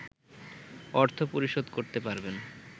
অর্থ পরিশোধ করতে পারবেন